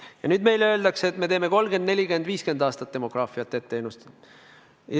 Ja nüüd meile öeldakse, et me oskame demograafiat 30, 40, 50 aastat ette ennustada.